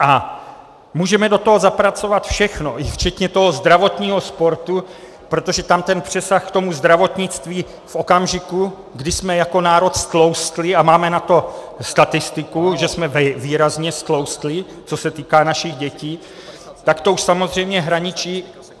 A můžeme do toho zapracovat všechno, včetně toho zdravotního sportu, protože tam ten přesah k tomu zdravotnictví v okamžiku, kdy jsme jako národ ztloustli, a máme na to statistiku, že jsme výrazně ztloustli, co se týká našich dětí, tak to už samozřejmě hraničí.